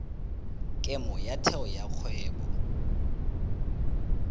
kemo ya theo ya kgwebo